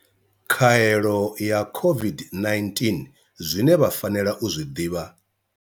Khaelo ya COVID-19, Zwine vha fanela u zwi ḓivha.